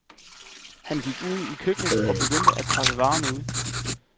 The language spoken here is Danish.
Han gik ud i køkkenet og begyndte at pakke varerne ud.